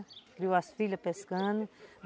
Criou as filhas pescando.